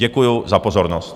Děkuju za pozornost.